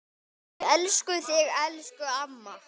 Við elskum þig, elsku amma.